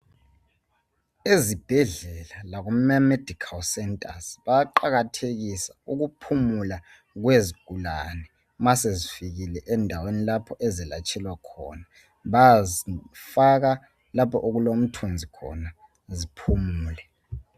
Ezibhedlela lakuma medikhali sentazi bayaqakathekisa ukuphumula kwezigulane ma sezifikile endaweni lapho ezelatshelwa khona, bayazifaka lapho okulomthunzi khona ziphumule.